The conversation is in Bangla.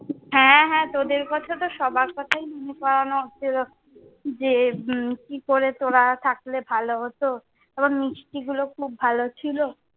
হ্যাঁ হ্যাঁ তোদের কথা তো সবার কথায় মনে করানো হচ্ছিলো যে, উম কি করে তোরা থাকলে ভালো হতো। আবার মিষ্টি গুলো খুব ভালো ছিলো।